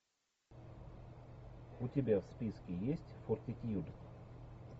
у тебя в списке есть фортитьюд